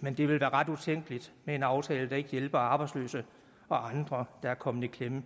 men det vil være ret utænkeligt med en aftale der ikke hjælper arbejdsløse og andre der er kommet i klemme